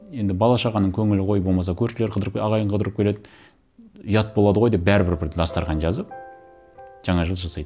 енді бала шағаның көңілі ғой болмаса көршілер қыдырып ағайын қыдырып келеді ұят болады ғой деп бәрібір бір дастархан жазып жаңа жыл жасайды